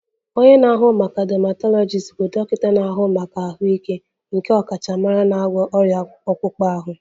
Onye na-ahụ maka dermatologist bụ dọkịta na-ahụ maka ahụike nke ọkachamara n'ịgwọ ọrịa akpụkpọ ahụ